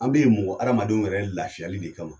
An bɛ ye mɔgɔ hadamadenw yɛrɛ lafiyali de kama.